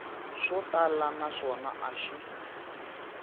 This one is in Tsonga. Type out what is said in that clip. swo tala naswona a xi